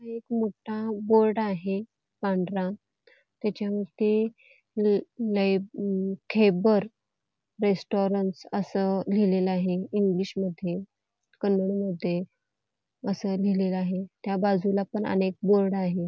इथे एक मोठा बोर्ड आहे पांढरा त्याच्यावरती खैबर रेस्टोरंन्ट असं लिहिलेलं आहे इंग्लिश मध्ये कन्नडमध्ये असं लिहिलेलं आहे त्या बाजूलापण आणि एक बोर्ड आहे.